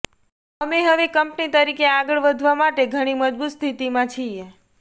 અમે હવે કંપની તરીકે આગળ વધવા માટે ઘણી મજબૂત સ્થિતિમાં છીએ